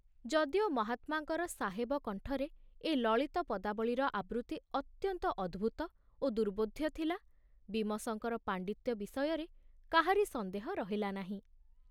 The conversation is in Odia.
ଯଦିଓ ମହାତ୍ମାଙ୍କର ସାହେବ କଣ୍ଠରେ ଏ ଲଳିତ ପଦାବଳୀର ଆବୃତ୍ତି ଅତ୍ୟନ୍ତ ଅଦ୍ଭୁତ ଓ ଦୁର୍ବୋଧ୍ୟ ଥିଲା, ବୀମସଙ୍କର ପାଣ୍ଡିତ୍ୟ ବିଷୟରେ କାହାରି ସନ୍ଦେହ ରହିଲା ନାହିଁ।